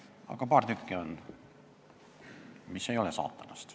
Aga paar tükki neid on, mis ei ole saatanast.